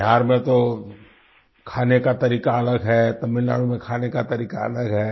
बिहार में तो खाने का तरीका अलग है तमिलनाडु में खाने का तरीका अलग है